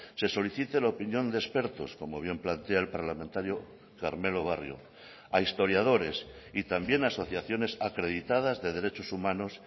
se solicite la opinión de expertos como bien plantea el parlamentario carmelo barrio a historiadores y también asociaciones acreditadas de derechos humanos